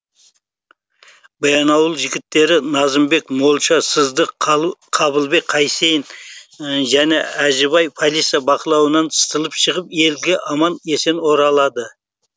баянауыл жігіттері назымбек молша сыздық қабылбек қасейін және әжібай полиция бақылауынан сытылып шығып елге аман есен оралады